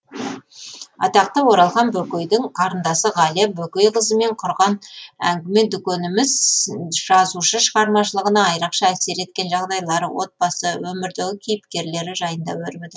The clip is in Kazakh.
атақты оралхан бөкейдің қарындасы ғалия бөкейқызымен құрған әңгіме дүкеніміз жазушы шығармашылығына айрықша әсер еткен жағдайлар отбасы өмірдегі кейіпкерлері жайында өрбіді